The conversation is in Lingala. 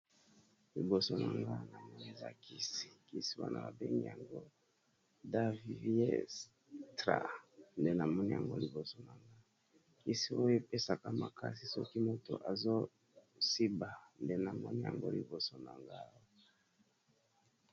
Liboso na nga na moni eza kisi kisi wana ba bengi yango daviestra nde na moni yango liboso na nga kisi oyo epesaka makasi soki moto azo siba nde na moni yango liboso na nga.